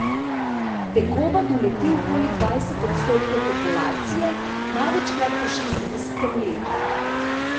Tegoba doleti okoli dvajset odstotkov populacije, največkrat po štiridesetem letu.